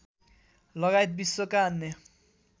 लगायत विश्वका अन्य